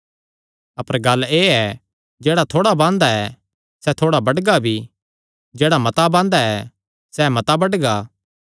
अपर गल्ल एह़ ऐ जेह्ड़ा थोड़ा बांदा ऐ सैह़ थोड़ा बड्डगा भी जेह्ड़ा मता बांदा ऐ सैह़ मता बड्डगा